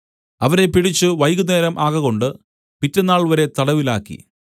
അവരെ പിടിച്ച് വൈകുന്നേരം ആകകൊണ്ട് പിറ്റെന്നാൾവരെ തടവിലാക്കി